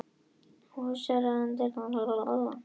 Húsráðandi afþakkaði aðstoð slökkviliðsins